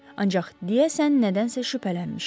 Ancaq deyəsən nədənsə şübhələnmişdi.